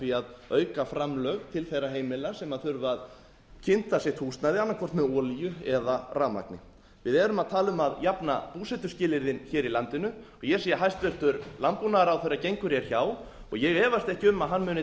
því að auka framlög til þeirra heimila sem þurfa að kynda sitt húsnæði annaðhvort með olíu eða rafmagni við erum að tala um að jafna búsetuskilyrðin í landinu og ég sé að hæstvirtur landbúnaðarráðherra gengur hjá og ég efast ekki um að hann muni